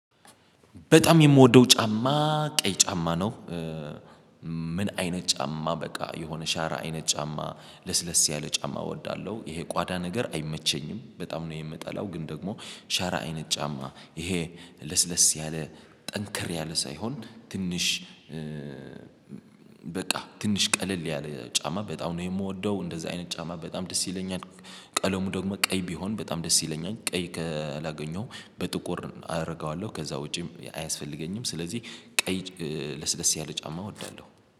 በጣም የምወደው ጫማ ቀይ ጫማ ነው። ምን አይነት ጫማ በቃ የሆነ ሸራ አይነት ጫማ ለስለስ ያለ ጫማ እወዳለሁ። ይሄ ቋዳ ነገር አይመቸኝም በጣም ነው የምጠላው። ግን ደግሞ ሸራ አይነት ጫማ ይሄ ለስለስ ያለ ጠንከር ያለ ሳይሆን ትንሽ በቃ ትንሽ ቀለል ያለ ጫማ በጣም ነው የምወደው እንደዛ አይነት ጫማ በጣም ደስ ይለኛል። ቀለሙ ደግሞ ቀይ ቢሆን በጣም ደስ ይለኛል ቀይ ካላገኘው በጥቁር አረገዋለሁ ከዛ ወጪም አያስፈልገኝም። ስለዚህ ቀይ ለስለስ ያለ ጫማ እወዳለሁ